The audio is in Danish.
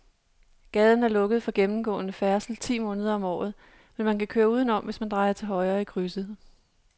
Gaden er lukket for gennemgående færdsel ti måneder om året, men man kan køre udenom, hvis man drejer til højre i krydset.